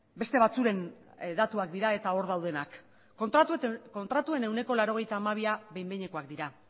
beste batzuen datuak dira eta hor daudenak kontratuen ehuneko laurogeita hamabia behin behinekoak dira